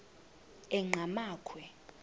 enqgamakhwe